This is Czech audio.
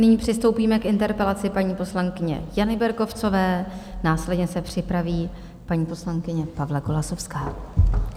Nyní přistoupíme k interpelaci paní poslankyně Jany Berkovcové, následně se připraví paní poslankyně Pavla Golasowská.